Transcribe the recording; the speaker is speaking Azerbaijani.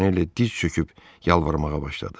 Montaneli diz çöküb yalvarmağa başladı.